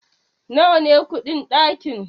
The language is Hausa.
nawa ne kudin dakin?